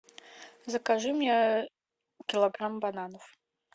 закажи мне килограмм бананов